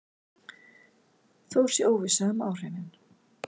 Þó sé óvissa um áhrifin.